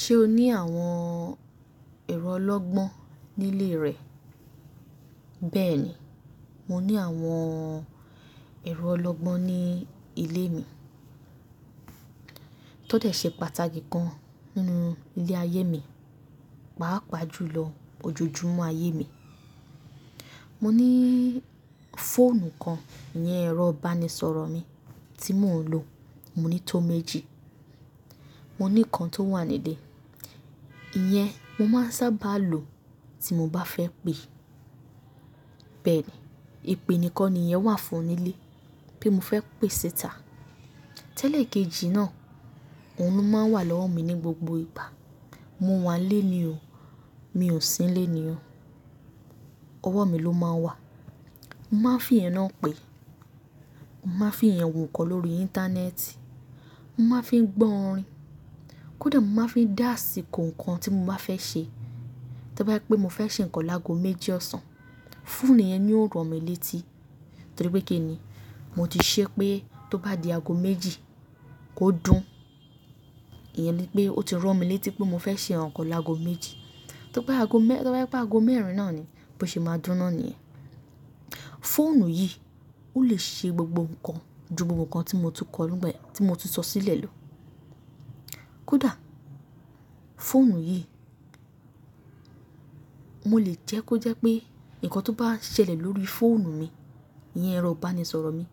Ṣé o ní àwọn ẹ̀rọ ọlọ́gbọ́n nílé rẹ? Bẹ́ẹ̀ni, mo ní àwọn ẹ̀rọ ọlọ́gbọ́n ní ilé mi. Tódẹ̀ ṣe pàtàkì kan nínú ilé ayé mi, pàápàá jùlọ ojojúmọ́ ayé mi. Mo ní fóònù kan, iyẹn ẹ̀rọ ìbánisọ̀rọ̀ mi tí mò ń lò. Mo ní tó méjì. Mo ní kan tó wà ní ilé. Iyẹn mo máa ń sábà lo tí mo bá fẹ́ pè. Bẹ́ẹ̀ni, ìpè nìkan nìyẹn wà fún nílé pé mo fẹ́ pè ṣita. Tẹ́lẹ̀ kejì náà, òun máa ń wà lọ́wọ́ mi ní gbogbo ìgbà. Mo wà nilé ní o, mi ò sí nilé ní o, ọwọ́ mi ló máa ń wà. M á fi iyẹn náà pè, m á fi iyẹn wo nkọ́ lórí íńtánẹ́ẹ̀tì, m á fi gbọ́ orin. Kódà mo maá fi dáàsì kó nǹkan tí mo bá fẹ́ ṣe. Tí bá rí pé mo fẹ́ ṣe nǹkan lágo méjì ọ̀sán, fóònù yẹn ni ó ràn mí létí. Torí pé kíni, mo ti ṣe pé tó bá di ago méjì kó dún. Iyẹn ni pé ó ti ràn mí létí pé mo fẹ́ ṣe nǹkan lágo méjì. Tó bá jẹ́ pé ago mẹ́rin náà ni, bó ṣe máa dúná ni iyẹn. Fóònù yìí, ó lè ṣe gbogbo nǹkan ju gbogbo nǹkan tí mo tún kọ́ lọ́gbìn tí mo tún sọ sílẹ̀ lọ. Kódà fóònù yìí, mo lè jẹ́ kó jẹ́ pé ǹkan tó bá ń ṣẹlẹ̀ lórí fóònù mi, iyẹn ẹ̀rọ ìbánisọ̀rọ̀ mi,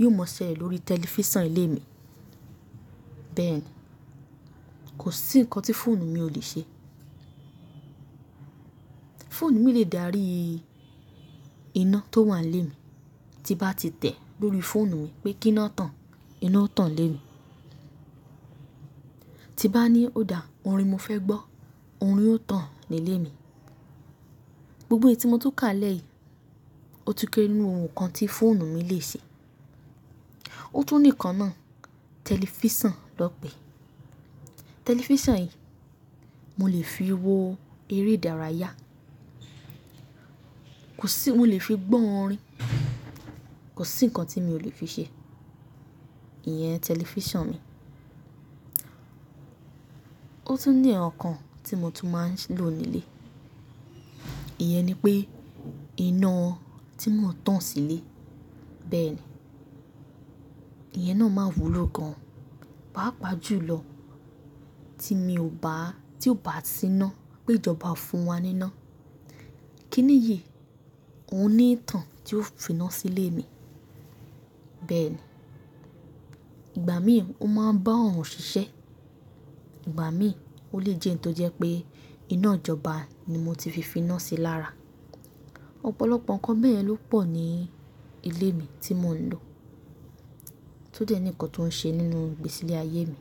yóò máa ṣẹlẹ̀ lórí tẹlifíṣàn ilé mi. Bẹ́ẹ̀ ni, kò sí nǹkan tí fóònù mi ò lè ṣe. Fóònù mi lè dárí iná tó wà nílé mi. Tí bá ti tẹ̀ lórí fóònù mi pé kí iná tàn, iná ó tàn nílé mi. Tí bá ní òdà orin mo fẹ́ gbọ́, orin ó tàn nílé mi. Gbogbo èyí tí mo tún kà lẹ́ yìí, ó tún kéré nínú ohun kan tí fóònù mi lè ṣe. Ó tún ní nǹkan náà, tẹlifíṣàn lọ́ pẹ̀. Tẹlifíṣàn yìí, mo lè fi wo eré ìdárayá, mo lè fi gbọ́ orin, kò sí nǹkan tí mi ò lè fi ṣe, iyẹn tẹlifíṣàn mi. Ó tún ní ǹkan tí mo tún máa ń lò nílé. Iyẹn ni pé iná tí mò ń tàn sílé. Bẹ́ẹ̀ni, iyẹn náà máa wúlò gan pàápàá jùlọ tí mi ò bá, tí ò bá sí ná pé ìjọba oo fún wa ní iná. Kíni yìí, òun ní ìtàn tí ó fi ná sílé mi. Bẹ́ẹ̀ni, ìgbà mìíràn ó máa ń bá òòrùn ṣiṣẹ́, ìgbà mìíràn ó lè jẹ́ nǹkan tó jẹ́ pé iná ìjọba ni mo ti fi fi ná sí i lára. Ọ̀pọ̀lọpọ̀ ǹkan bẹ́yẹn ló pọ̀ ní ilé mi tí mò ń lò, tó dẹ́ ní ǹkan tó ń ṣe nínú ìgbésílé ayé mi.